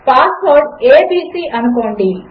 పాస్వర్డ్abcఅనుకోండి